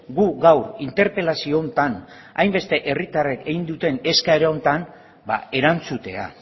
gu gaur interpelazio honetan hainbeste herritarrek egin duten eskaera honetan erantzutea